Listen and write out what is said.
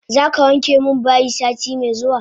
Zaka wanke min bayi sati me zuwa?